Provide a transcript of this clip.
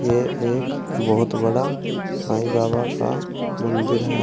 ये एक बहुत बड़ा साईं बाबा का मंदिर है।